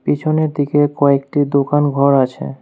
পিছনের দিকে কয়েকটি দোকানঘর আছে।